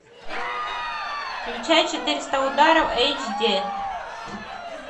включай четыреста ударов эйч ди